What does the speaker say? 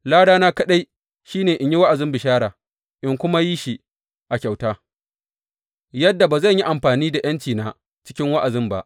Ladana kaɗai shi ne, in yi wa’azin bishara, in kuma yi shi a kyauta, yadda ba zan yi amfani da ’yancina cikin wa’azin ba.